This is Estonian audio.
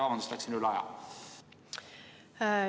Vabandust, läksin üle aja!